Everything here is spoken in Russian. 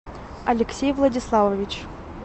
алексей владиславович